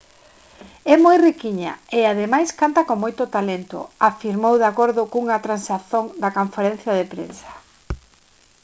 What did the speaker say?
é moi riquiña e ademais canta con moito talento afirmou de acordo cunha transcrición da conferencia de prensa